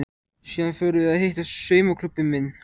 Síðan förum við að hitta saumaklúbbinn minn.